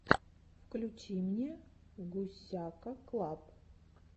включи мне гусяка клаб